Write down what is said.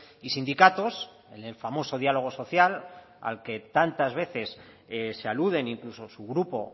y sindicatos en el famoso diálogo social al que tantas veces se aluden incluso su grupo